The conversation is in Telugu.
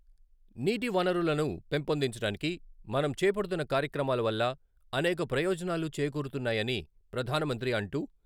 నీటి వనరులను పెంపొందించడానికి మనం చేపడుతున్న కార్యక్రమాల వల్ల అనేక ప్రయోజనాలు చేకూరుతున్నాయని ప్రధానమంత్రి అంటూ..